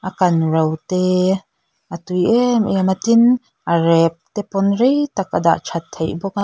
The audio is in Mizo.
a kanro te a tui em em a tin a rep tepawn reitak a dahthat theih bawk a--